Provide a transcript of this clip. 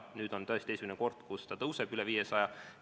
Nüüd on tõesti esimene kord, kui see tõuseb üle 500.